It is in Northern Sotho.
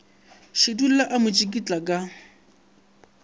šidulla a mo tsikitla ka